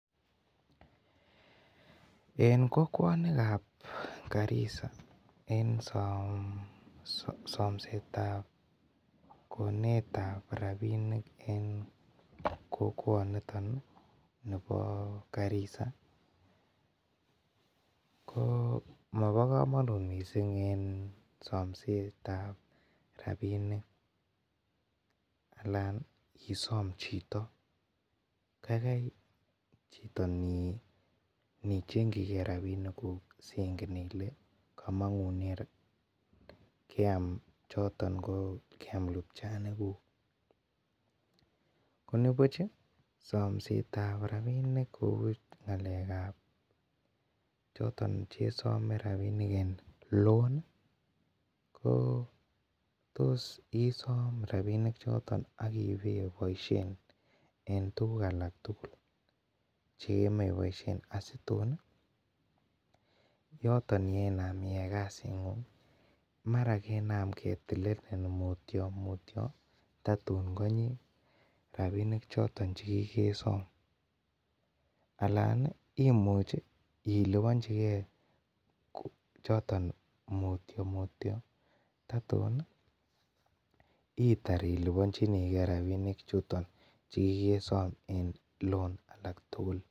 En kokuanikab Garisa en somesetab konetab robinik en kokwotiniton ih , nibo Garisa ko ma bo komanut missing somesetab rabinik. Alan isom chito kaikai chito inii chengchigee rabinik kuku chengen Ile komang'nen choton lupchanik kuuk. Nibuch ih samsetab rabinik ng'alekab choton chesime rabinik en loan ih tos isam rabinik choton agibeboisien en tuguk alak tugul chegemiiboisien asitun ih yooton yenaam iyai kasit ng'ung ih marakenaam mutyo tatuun , rabinik choton Alan ih imuche ih ilubonchike choton mutyo mutyo ih itokor itar ilubanchinike rabinik chuton chekikesom en loan